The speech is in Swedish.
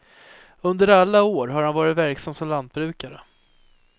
Under alla år har han varit verksam som lantbrukare.